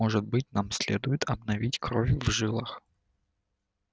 может быть нам следует обновить кровь в жилах